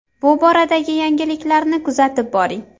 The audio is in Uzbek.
Bu boradagi yangiliklarni kuzatib boring.